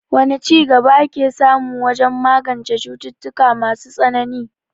Wane ci gaba aka samu wajen magance cututtuka masu tsanani?